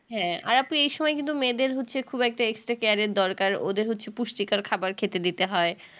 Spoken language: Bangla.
হ্যাঁ আর আপু এই সময় কিন্তু মেয়েদের হচ্ছে খুব একটা extra care এর দরকার ওদের হচ্ছে পুষ্টিকর খাবার খেতে দিতে হয়